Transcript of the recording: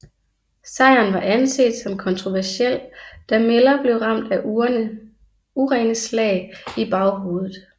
Sejren var anset som kontroversiel da Miller blev ramt af urene slag i baghovedet